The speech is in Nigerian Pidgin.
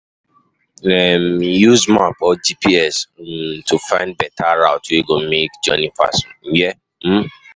um Use map or GPS um to find better route wey go make journey fast. um